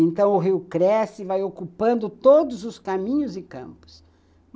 Então o rio cresce e vai ocupando todos os caminhos e campos.